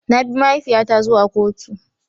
Na bi mahaifiyata zuwa kotu.